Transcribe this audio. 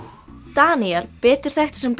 Daníel betur þekktur sem